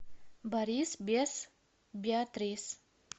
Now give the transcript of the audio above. борис без беатрис